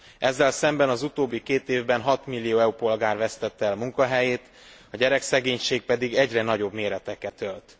Ezzel szemben az utóbbi két évben 6 millió EU polgár vesztette el munkahelyét, a gyerekszegénység pedig egyre nagyobb méreteket ölt.